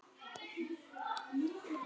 Verð hafi lækkað milli ára.